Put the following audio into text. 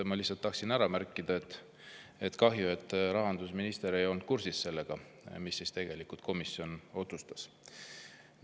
Ma lihtsalt tahtsin ära märkida, et kahju, et rahandusminister ei olnud kursis sellega, mida komisjon tegelikult otsustas.